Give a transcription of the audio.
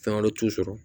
Fɛn wɛrɛ t'u sɔrɔ